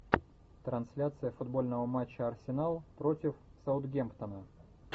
трансляция футбольного матча арсенал против саутгемптона